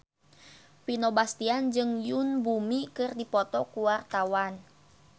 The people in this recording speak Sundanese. Vino Bastian jeung Yoon Bomi keur dipoto ku wartawan